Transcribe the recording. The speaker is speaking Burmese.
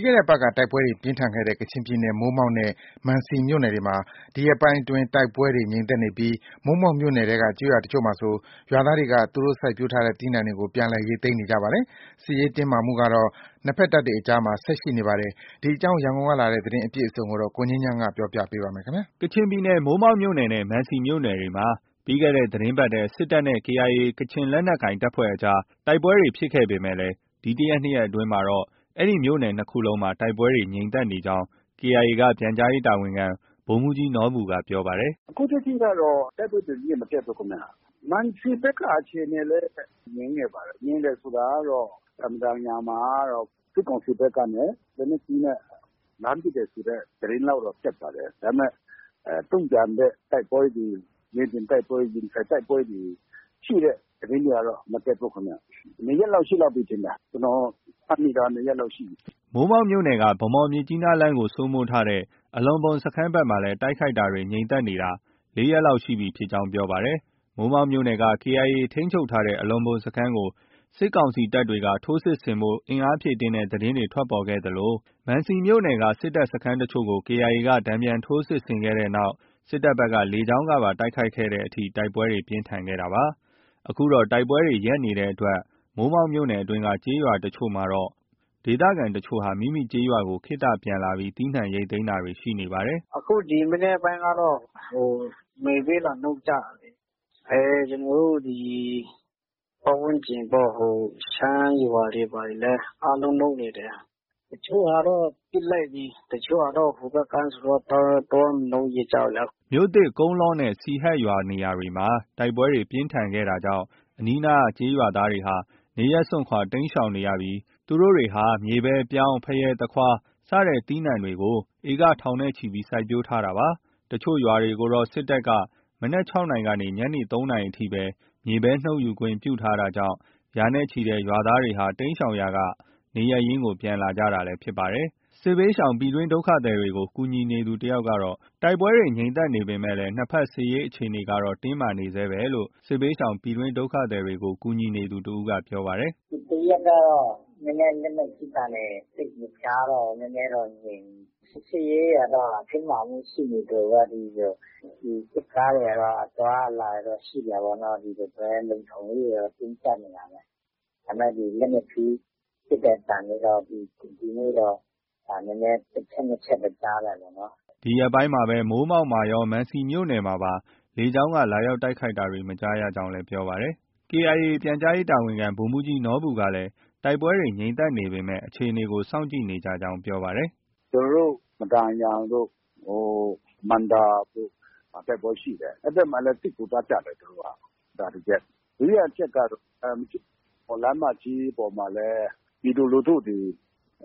းခဲ့တဲ့အပတ်က တိုက်ပွဲတွေ ပြင်းထန်ခဲ့တဲ့ ကချင်ပြည်နယ် မိုးမောက်နဲ့ မံစီမြို့နယ်တွေမှာ ဒီရက်ပိုင်းအတွင်း တိုက်ပွဲတွေ ငြိမ်သက်နေပြီး မိုးမောက်မြို့နယ်ထဲက ကျေးရွာတချို့မှာဆို ရွာသားတွေက သူတို့ စိုက်ပျိုးထားတဲ့ သီးနှံတွေကို ပြန်လည် ရိတ်သိမ်းနေကြပါတယ်။ စစ်ရေးတင်းမာမှုကတော့ နှစ်ဘက်တပ်တွေအကြားမှာ ဆက်ရှိနေပါတယ်။ ဒီအကြောင်း ရန်ကုန်ကလာတဲ့ သတင်းအပြည့်အစုံကို ကိုငြိမ်းချမ်း တင်ပြထားပါတယ်။ ကချင်ပြည်နယ် မိုးမောက်မြို့နယ်နဲ့ မံစီမြို့နယ်တွေမှာ ပြီးခဲ့တဲ့ သီတင်းပတ်ထဲ စစ်တပ်နဲ့ ကေအိုင်အေ ကချင်လက်နက်ကိုင်အဖွဲ့တွေကြား တိုက်ပွဲတွေ ဖြစ်ခဲ့ပေမဲ့ ဒီတစ်ရက်၊နှစ်ရက်အတွင်းမှာတော့ အဲဒီမြို့နယ် ၂ ခုလုံးမှာ တိုက်ပွဲတွေ ငြိမ်သက်နေကြောင်း KIA က ပြန်ကြားရေးတာဝန်ခံ ဗိုလ်မှူးကြီးနော်ဘူက ပြောပါတယ်။ “အခုထက်ထိကတော့ တိုက်ပွဲသတင်းတွေ မတက်ဘူးခင်ဗျ။ မံစီဘက်က အခြေအနေလည်း ငြိမ်နေပါတယ်။ ငြိမ်တယ်ဆိုတာကတော့ မဒန်ယန်မှာကတော့ စစ်ကောင်စီဘက်ကနေ လက်နက်ကြီးနဲ့ လှမ်းပစ်တယ်ဆိုတဲ့ သတင်းလောက်တော့ တက်ပါတယ်။ ဒါပေမဲ့ တုံ့ပြန်တဲ့ တိုက်ပွဲတွေ၊ မြေပြင်တိုက်ပွဲ၊ ရင်ဆိုင်တိုက်ပွဲတွေ ရှိတဲ့ သတင်းတွေကတော့ မတက်ဘူးခင်ဗျ။ ၂ ရက်လောက် ရှိလောက်ပြီထင်တယ်။ ကျနော် မှတ်မိတာကတော့ ၂ ရက်လောက် ရှိပြီ။” မိုးမောက်မြို့နယ်က ဗန်းမော်- မြစ်ကြီးနားလမ်းကို စိုးမိုးထားတဲ့ အလော့ဘွမ်စခန်းဘက်မှာလည်း တိုက်ခိုက်တာတွေ ငြိမ်သက်နေတာ ၄ ရက် လောက်ရှိကြောင်း ပြောပါတယ်။ မိုးမောက်မြို့နယ်က KIA ထိန်းချုပ်ထားတဲ့ အလော့ဘွမ်စခန်းကို စစ်ကောင်စီတပ်တွေက ထိုးစစ်ဆင်ဖို့ အင်အားဖြည့်တင်းတဲ့သတင်းတွေ ထွက်ပေါ်ခဲ့သလို မန်စီမြို့နယ်က စစ်တပ်စခန်းတချို့ကို KIA က တန်ပြန်ထိုး စစ်ဆင်ခဲ့တဲ့နောက် စစ်တပ်ဘက်က လေကြောင်းကပါ တိုက်ခိုက်တဲ့အထိ တိုက်ပွဲတွေ ပြင်းထန်ခဲ့တာပါ။ အခုတော့ တိုက်ပွဲတွေ ရပ်နေတဲ့အတွက် မိုးမောက်မြို့နယ်အတွင်းက ကျေးရွာတချို့မှာတော့ ဒေသခံတချို့ဟာ မိမိကျေးရွာကို ခေတ္တပြန်လာပြီး သီးနှံ ရိတ်သိမ်းတာတွေ ရှိနေပါတယ်။ “ဒီ ၃၊ ၄ ရက် အခြေအနေကတော့ ငြိမ်တယ်။ အခု ရွာမှာ။ အခု ဒီမနက်ပိုင်းကတော့ မြေပဲ လာနှုတ်ကြတာလေ။ ကျနော်တို့ ဒီ ပတ်ဝန်းကျင်ပေါ့။ ဟို ရှမ်းရွာတွေ ဘာတွေလည်း အားလုံးနုတ်နေတယ်။ တချို့ဟာတော့ ပစ်လိုက်ပြီ။ တချို့ဟာတော့ ဟိုဘက်ကမ်းဆိုတော့ သွား မနုတ်ရဲကြဘူးလေ။” မြို့သစ်၊ ကုန်းလောနဲ့ စီဟတ်ရွာစတဲ့ နေရာတွေမှာ တိုက်ပွဲပြင်းထန်ခဲ့တာကြောင့် အနီးအနားကျေးရွာသားတွေဟာ နေရပ်စွန့်ခွာ တိမ်းရှောင်နေရပြီး သူတို့တွေဟာ မြေပဲ၊ ပြောင်း၊ ဖရဲ၊ သခွား စတဲ့ သီးနှံတွေကို စိုက်ပျိုးထားတဲ့ ဧက ထောင်ချီပြီး စိုက်ပျိုးထားကြတာလည်း ဖြစ်ပါတယ်။တချို့ရွာတွေကိုတော့ စစ်တပ်က မနက် ၆ နာရီကနေ ညနေ ၃ နာရီအထိ မြေပဲ နုတ်ယူခွင့်ပြုထားတာကြောင့် ရာနဲ့ချီတဲ့ ရွာသားတွေဟာ တိမ်းရှောင်ရာကနေ နေရပ်ရင်း ပြန်လာနေကြတာလည်း ဖြစ်ပါတယ်။ စစ်ဘေးရှောင် ပြည်တွင်းဒုက္ခသည်တွေကို ကူညီနေသူ တယောက်ကတော့ တိုက်ပွဲတွေ ငြိမ်သက်နေပဲမှာ နှစ်ဘက် စစ်ရေးအခြေအနေကတော့ တင်းမာနေဆဲရှိတယ်လို့ ပြောပါတယ်။ “ဒီတစ်ရက်ကတော့ လက်နက်ကြီးသံတွေ သိပ်မကြားတော့ဘူး။ နည်းနည်းတော့ ငြိမ်နေတယ်။ စစ်ရေးအခြေအနေကတော့ တင်းမာမှု ရှိနေသလိုပဲ။ စစ်ကားတွေကတော့ အသွားအလာတွေတော့ ရှိနေတာပဲ။ ဒီလိုပဲ လုံခြုံရေးအခြေအနေကတော့ တင်းကြပ်နေတာပဲ။ ဒါပေမဲ့ လက်နက်ကြီးပစ်တဲ့အသံတွေတော့ ဒီနေ့တော့ တစ်ချက်၊ နှစ်ချက်ပဲ ကြားတာပေါ့နော်။ အဲဒီလိုလေးတော့ ရှိတယ်။” ဒီရက်ပိုင်းမှာ မိုးမောက်ရော မံစီမြို့နယ်မှာပါ လေကြောင်းက လာရောက် တိုက်ခိုက်တာတွေ မကြားရကြောင်း ပြောပါတယ်။ KIA ပြန်ကြားရေးတာဝန်ခံ ဗိုလ်မှူးကြီးနော်ဘူကလည်း တိုက်ပွဲတွေ ငြိမ်သက်နေပေမဲ့ အခြေအနေကို စောင့်ကြည့်နေကြကြောင်း ပြောပါတယ်။ “ကျနော်တို့ မဒန်ယန်တို့ ဟို မံဒါတို့ဘက်မှာ တိုက်ပွဲရှိတယ်။ အဲဒီဘက်မှာလည်း စစ်ကူသွားကြတယ် သူတို့က။ ဒါ တစ်ချက်။ ဒုတိယတစ်ချက်ကတော့ မြစ်ကြီးနား - ဗန်းမော်လမ်းမကြီးပေါ်မှာလည်း ပြည်သူလူထုတွေ